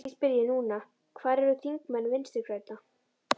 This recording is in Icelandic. Því spyr ég núna, hvar eru þingmenn Vinstri grænna?